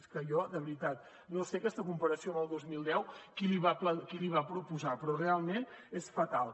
és que jo de veritat no sé aquesta comparació amb el dos mil deu qui l’hi va proposar però realment és fatal